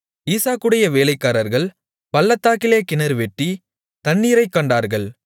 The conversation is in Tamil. ஈசாக்குடைய வேலைக்காரர்கள் பள்ளத்தாக்கிலே கிணறுவெட்டி தண்ணீரைக் கண்டார்கள்